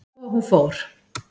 Svo hún fór.